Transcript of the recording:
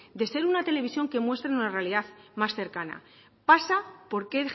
de ser una televisión que muestre una realidad más cercana pasa porque